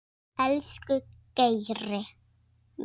Elsku Geiri.